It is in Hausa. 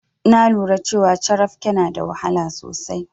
Na lura cewa carafke na da wahala sosai.